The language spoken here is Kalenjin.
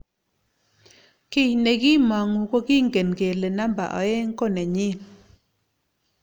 kiy ne kiimongu ko kingen kole namba oeng ko nenyin